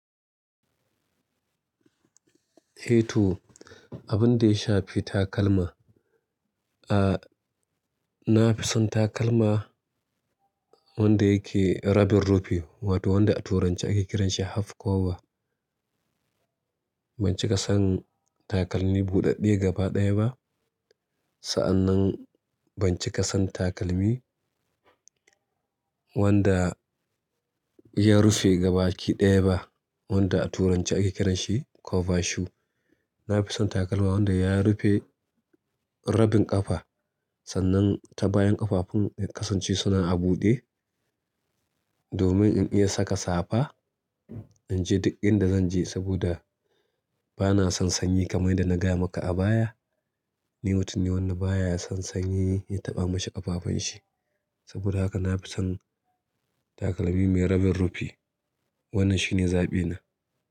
Heto abin da ya shafi takalma, a, na fi son takalma, wanda yake rabin rufi wato wanda a turanci ake kiranshi half cover. Ban cika son takalmi buɗaɗɗe gaba ɗaya ba, sa'annan ban cika son takalmi wanda ya, rufe gaba kiɗaya ba wanda a turanci ake kiranshi cover shoe. Na fi son takalmi wanda ya rufe rabin ƙafa sannan ta bayan ƙafafun ya kasance suna a buɗe domin in iya saka safa, in je duk inda zan je saboda bana son sanyi kamar da na gaya maka a baya. Ni mutum ne wanda baya son sanyi, ya taɓa mashi ƙafafen shi. Saboda haka na fi son takalmi mai rabin rufi. Wannann shine zaɓi na.